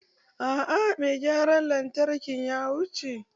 Aa mai gyaran lantarkin ya wuce.